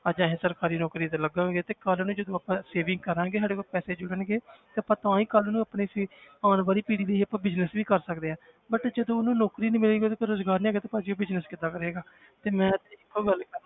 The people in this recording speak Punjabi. ਅੱਜ ਅਸੀਂ ਸਰਕਾਰੀ ਨੌਕਰੀ ਤੇ ਲੱਗਾਂਗੇ ਤੇ ਕੱਲ੍ਹ ਨੂੰ ਜਦੋਂ ਆਪਾਂ saving ਕਰਾਂਗੇ ਸਾਡੇ ਕੋਲ ਪੈਸੇ ਜੁੜਨਗੇ ਤੇ ਆਪਾਂ ਤਾਂ ਹੀ ਕੱਲ੍ਹ ਨੂੰ ਆਪਣੀ ਅਸੀਂ ਆਉਣ ਵਾਲੀ ਪੀੜ੍ਹੀ ਲਈ business ਵੀ ਕਰ ਸਕਦੇ ਹਾਂ but ਜਦੋਂ ਉਹਨੂੰ ਨੌਕਰੀ ਨਹੀਂ ਮਿਲੇਗੀ ਉਹਦੇ ਕੋਲ ਰੁਜ਼ਗਾਰ ਨੀ ਹੈਗਾ ਤੇ ਭਾਜੀ ਉਹ business ਕਿੱਦਾਂ ਕਰੇਗਾ, ਤੇ ਮੈਂ ਤੇ ਇੱਕੋ ਗੱਲ